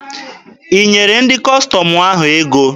I nyere ndị Kọstọm ahụ ego?